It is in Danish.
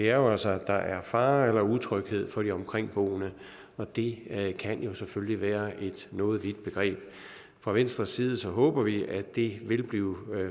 er jo altså at der er fare eller utryghed for de omkringboende og det kan jo selvfølgelig være et noget vidt begreb fra venstres side håber vi at det vil blive